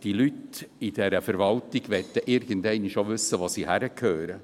Die Leute in der Verwaltung möchten irgendwann wissen, wo sie hingehören.